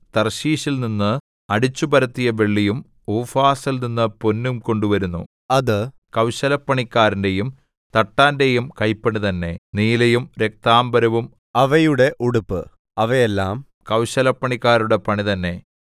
തർശീശിൽനിന്ന് അടിച്ചുപരത്തിയ വെള്ളിയും ഊഫാസിൽനിന്ന് പൊന്നും കൊണ്ടുവരുന്നു അത് കൗശലപ്പണിക്കാരന്റെയും തട്ടാന്റെയും കൈപ്പണി തന്നെ നീലയും രക്താംബരവും അവയുടെ ഉടുപ്പ് അവയെല്ലാം കൗശലപ്പണിക്കാരുടെ പണിതന്നെ